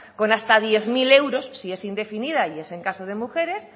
con hasta diez mil euros si es indefinida y es en caso de mujeres